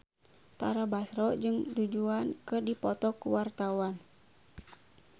Tara Basro jeung Du Juan keur dipoto ku wartawan